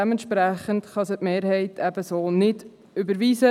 Dementsprechend kann die Mehrheit diese so nicht überweisen.